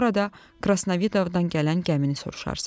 Orada Krasnavidovdan gələn gəmini soruşarsız.